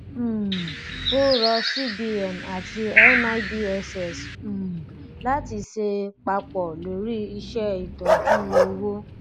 um ó rọ cbn àti nibss um láti ṣe papọ lórí iṣé ìtọjú owó